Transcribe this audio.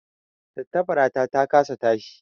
Tattabarata ta kasa tashi